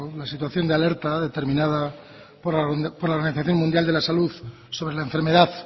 la situación de alerta determinada por la organización mundial de la salud sobre la enfermedad